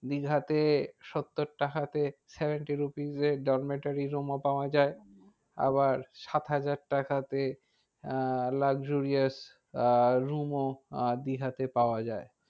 দীঘাতে সত্তর টাকাতে seventy rupees এ room ও পাওয়া যায়। আবার সাত হাজার টাকাতে আহ luxurious আহ room ও আহ দীঘাতে পাওয়া যায়।